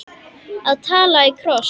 Að tala í kross